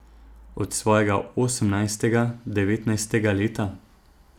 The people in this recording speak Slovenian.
Od svojega osemnajstega, devetnajstega leta?